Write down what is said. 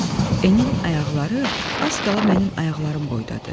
N-in ayaqları az qala mənim ayaqlarım boydadır.